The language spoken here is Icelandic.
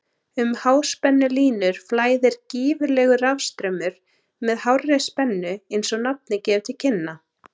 Um háspennulínur flæðir gífurlegur rafstraumur með hárri spennu eins og nafnið gefur til kynna.